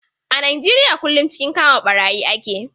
A Nijeriya kullum cikin kama ɓarayi ake.